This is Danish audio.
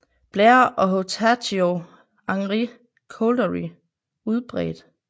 Blair og Horatio Henry Couldery udbredt